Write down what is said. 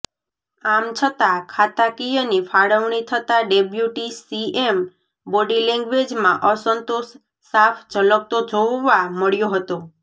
આમછતાં ખાતાકિયની ફાળવણી થતાં ડેપ્યુટી સીએમ બોડી લેંગ્વેજમાં અસંતોષ સાફ ઝલકતો જોવવા મળ્યો હતો